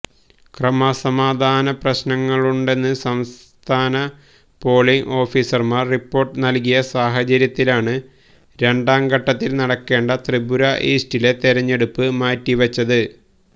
ക്രമസമാധാനപ്രശ്നങ്ങളുണ്ടെന്ന് സംസ്ഥാന പോളിംഗ് ഓഫീസര്മാര് റിപ്പോര്ട്ട് നല്കിയ സാഹചര്യത്തിലാണ് രണ്ടാം ഘട്ടത്തില് നടക്കേണ്ട ത്രിപുര ഈസ്റ്റിലെ തെരഞ്ഞെടുപ്പ് മാറ്റി വച്ചത്